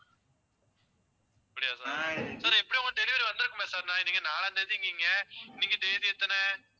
அப்படியா sir sir எப்படியும் உங்க delivery வந்துருக்குமே sir ஏனா நீங்க நாலாம் தேதிங்கிறீங்க இன்னைக்கு தேதி எத்தனை